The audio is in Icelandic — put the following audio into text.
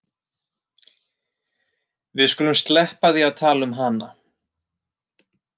Við skulum sleppa því að tala um hana.